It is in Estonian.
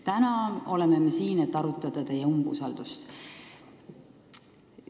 Täna oleme me siin, et arutada teie umbusaldamist.